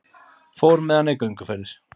Fór með hana í gönguferðir.